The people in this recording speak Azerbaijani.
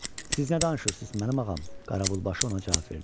Siz nə danışırsız mənim ağam, Qaravulbaşı ona cavab verdi.